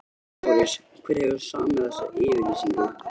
LÁRUS: Hver hefur samið þessa yfirlýsingu?